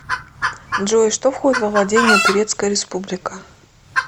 джой что входит во владения турецкая республика